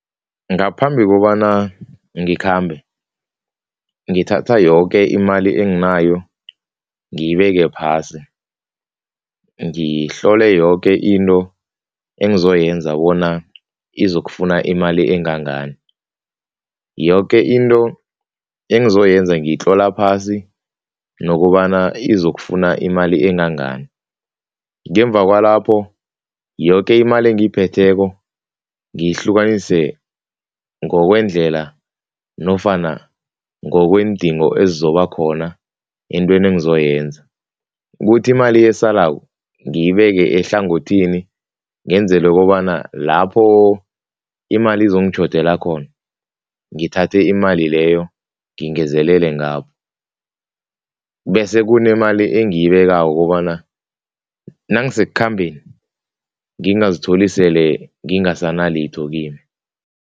Ngaphambi kobana ngikhambe, ngithatha yoke imali enginayo ngiyibeke phasi, ngihlole yoke into engizoyenza bona izokufuna imali engangani. Yoke into engizoyenza ngiyitlola phasi nokobana izokufuna imali engangani ngemva kwalapho, yoke imali engiyiphetheko ngiyihlukanise ngokwendlela nofana ngokweendingo ezizoba khona eentweni engizoyenza, kuthi imali esalako ngiyibeke ehlangothini ngenzele kobana lapho imali izongitjhodela khona ngithathe imali leyo ngingezelele ngapho bese kunemali engiyibekako kobana nangisekukhambeni, ngingazitholi sele ngingasana litho kimi.